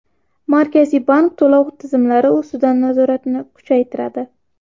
Markaziy bank to‘lov tizimlari ustidan nazoratni kuchaytiradi.